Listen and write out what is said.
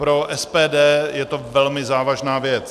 Pro SPD je to velmi závažná věc.